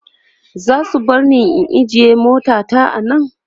zasu barni na ajye mota ta a Nan?